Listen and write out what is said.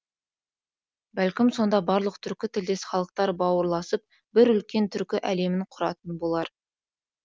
бәлкім сонда барлық түркі тілдес халықтар бауырласып бір үлкен түркі әлемін құратын болар